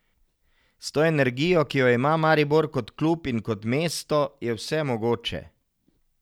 S to energijo, ki jo ima Maribor kot klub in kot mesto, je vse mogoče.